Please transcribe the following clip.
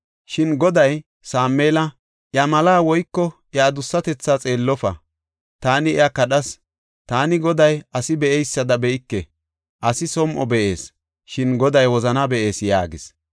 Shin Goday Sameela, “Iya malaa woyko iya adussatethaa xeellofa; taani iya kadhas. Taani Goday asi be7eysada be7ike; asi som7o be7ees, shin Goday wozanaa be7ees” yaagis.